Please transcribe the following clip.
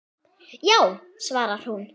Já, svarar hún.